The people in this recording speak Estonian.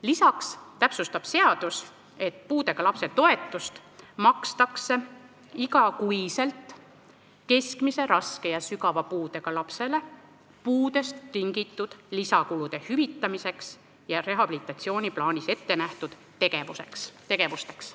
Lisaks täpsustab seadus, et puudega lapse toetust makstakse iga kuu keskmise, raske ja sügava puudega lapsele puudest tingitud lisakulude hüvitamiseks ja rehabilitatsiooniplaanis ettenähtud tegevusteks.